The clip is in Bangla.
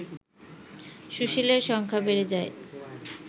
সুশীলের সংখ্যা বেড়ে যায়